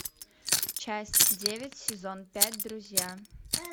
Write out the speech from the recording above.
часть девять сезон пять друзья